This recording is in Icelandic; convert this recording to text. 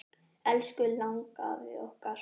Elsku langafi okkar.